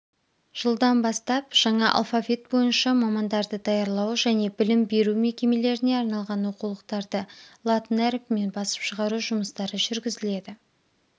жылдан бастап жаңа алфавит бойынша мамандарды даярлау және білім беру мекемелеріне арналған оқулықтарды латын әріпімен басып шығару жұмыстары жүргізіледі